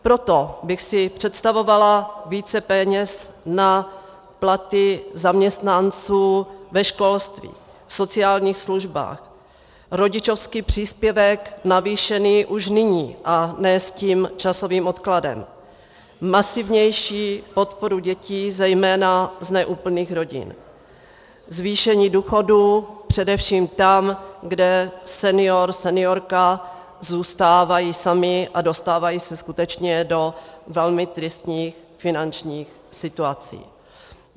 Proto bych si představovala více peněz na platy zaměstnanců ve školství, v sociálních službách, rodičovský příspěvek navýšený už nyní a ne s tím časovým odkladem, masivnější podporu dětí, zejména z neúplných rodin, zvýšení důchodů především tam, kde senior, seniorka zůstávají sami a dostávají se skutečně do velmi tristních finančních situací.